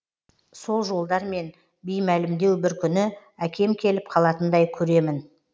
сол жолдармен беймәлімдеу бір күні әкем келіп қалатындай көремін